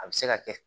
A bɛ se ka kɛ